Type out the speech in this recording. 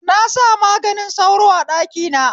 Na sa maganin sauro a ɗaki na